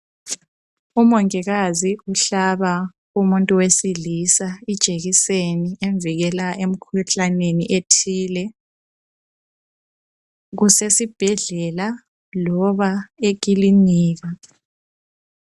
Umongikazi uhlaba umuntu wesilisa ijekiseni emvikela emikhuhlaneni ethile. Kusesibhedlela loba ekilinika.